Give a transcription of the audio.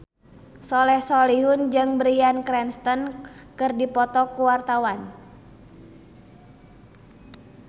Soleh Solihun jeung Bryan Cranston keur dipoto ku wartawan